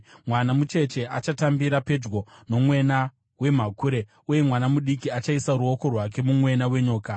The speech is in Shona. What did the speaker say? Mwana mucheche achatambira pedyo nomwena wemhakure, uye mwana mudiki achaisa ruoko rwake mumwena wenyoka.